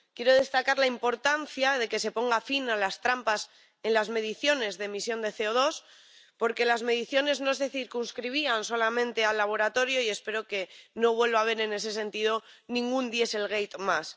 Quiero destacar la importancia de que se ponga fin a las trampas en las mediciones de emisión de CO2, porque las mediciones no se circunscribían solamente al laboratorio, y espero que no vuelva a haber, en ese sentido, ningún dieselgate más.